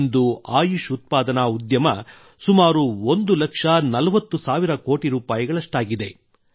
ಇಂದು ಆಯುಷ್ ಉತ್ಪಾದನಾ ಉದ್ಯಮ ಸುಮಾರು 1 ಲಕ್ಷ 40 ಸಾವಿರ ಕೋಟಿ ರೂಪಾಯಿಗಳಷ್ಟಾಗಿದೆ